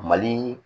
Mali